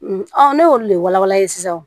ne y'olu de walawala sisan